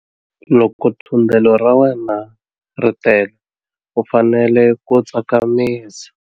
Loko thundelo ra wena ri tele u fanele ku tsakamisa.